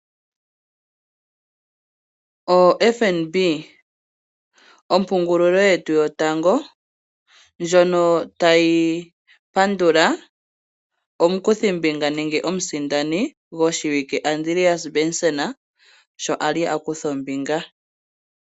O FNB ompungulilo yetu yotango Ndjono tayi pandula omukuthimbinga nenge omusindani gwoshiwike Andreas Benson sho ali akutha ombinga